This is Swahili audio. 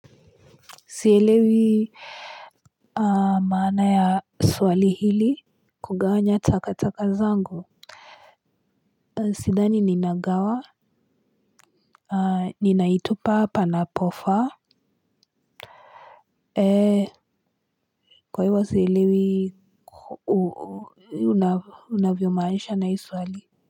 Sielewi aa maana ya swali hili kugawanya takataka zangu sidhani ninagawa aah ninaitupa panapofaa eeh kwa ivo sielewi u u u unavyomaanisha na hii swali.